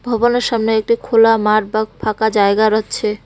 ভবনের সামনে একটি খোলা মাঠ বা ফাঁকা জায়গা রয়ছে।